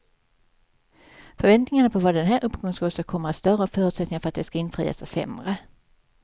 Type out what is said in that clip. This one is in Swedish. Förväntningarna på vad den här uppgången ska åstadkomma är större och förutsättningarna för att de ska infrias är sämre.